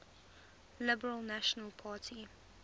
liberal national party